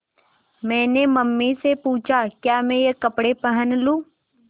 मैंने मम्मी से पूछा क्या मैं ये कपड़े पहन लूँ